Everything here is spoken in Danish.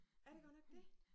Er det godt nok det?